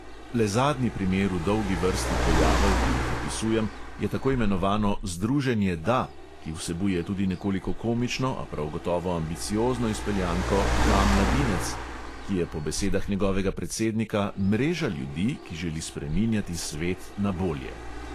Le zadnji primer v dolgi vrsti pojavov, ki jih opisujem, je tako imenovano združenje da (ki vsebuje tudi nekoliko komično, a prav gotovo ambiciozno izpeljanko da mladinec), ki je po besedah njegovega predsednika "mreža ljudi, ki želi spreminjati svet na bolje".